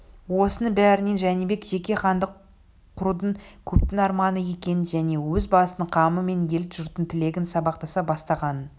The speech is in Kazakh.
осының бәрінен жәнібек жеке хандық құрудың көптің арманы екенін және өз басының қамы мен ел-жұрттың тілегінің сабақтаса бастағанын